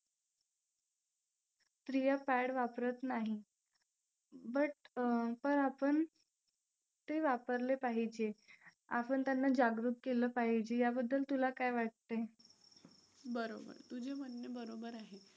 स्त्रीया pad वापरत नाहीत. but अं पण आपण ते वापरले पाहिजे. आपण त्यांना जागृत केलं पाहिजे याबद्दल तुला काय वाटतंय?